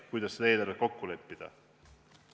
Kuidas seda eelarvet kokku leppida?